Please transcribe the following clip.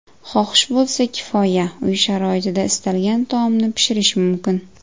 Xohish bo‘lsa kifoya, uy sharoitida istalgan taomni pishirish mumkin.